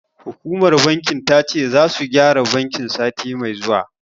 Hukumar bankin ta ce, zasu gyara bankin, sati mai zuwa.